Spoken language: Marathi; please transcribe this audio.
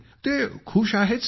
ते खुश आहेत सर